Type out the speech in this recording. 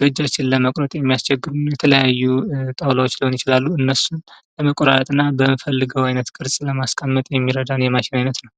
በእጃችን ለመቁረጥ የሚያስቸግሩ የተለያዩ ጣዉላዎች ሊሆኑ ይችላሉ እነሱን መቆራረጥ እና በሚፈለገዉ አይነት ቅርፅ ለማስቀመጥ የሚረዳን የማሽን አይነት ነዉ።